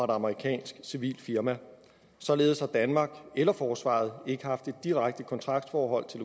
og et amerikansk civilt firma således har danmark eller forsvaret ikke haft et direkte kontraktforhold til